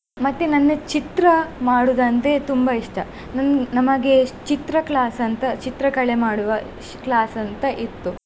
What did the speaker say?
ಮತ್ತೆ ನನ್ನ ಚಿತ್ರ ಮಾಡುದಂದ್ರೆ ತುಂಬಾ ಇಷ್ಟ. ನನ್ ನಮಗೆ ಚಿತ್ರ class ಅಂತಾ ಚಿತ್ರಕಲೆ ಮಾಡುವ class ಅಂತಾ ಇತ್ತು.